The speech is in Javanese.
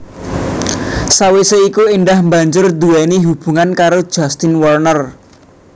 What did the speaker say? Sawisé iku Indah banjur nduwéni hubungan karo Justin Werner